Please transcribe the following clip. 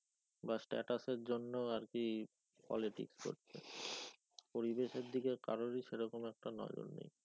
বা status এর জন্য আর কি politics করছে পরিবেশের দিকে কারোরই সেরকম একটা নজর নেই।